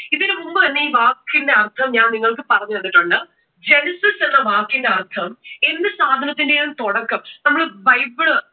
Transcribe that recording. ഇതിനു മുമ്പ് തന്നെ ഈ വാക്കിന്റെ അർഥം ഞാൻ നിങ്ങൾക്കു പറഞ്ഞു തന്നിട്ടുണ്ട് genesis എന്ന വാക്കിന്റെ അർഥം എന്തു സാധനത്തിന്റെയും തുടക്കം, നമ്മൾ ബൈബിൾ